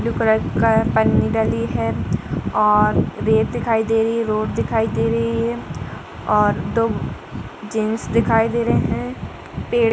एक blue colour का पन्नी डली है और रेत दिखाई दे रही है रोड दिखाई दे रही है और दो जेंट्स दिखाई दे रहे हैं पेड़ --